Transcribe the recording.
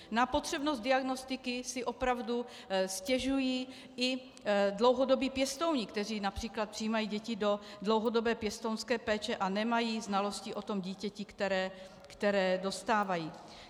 Na potřebnost diagnostiky si opravdu stěžují i dlouhodobí pěstouni, kteří například přijímají děti do dlouhodobé pěstounské péče a nemají znalosti o tom dítěti, které dostávají.